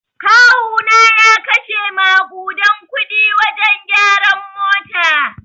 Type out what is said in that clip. Kawuna ya kashe makuɗan kuɗi wajen gyaran mota.